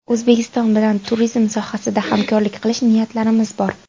O‘zbekiston bilan turizm sohasida hamkorlik qilish niyatlarimiz bor.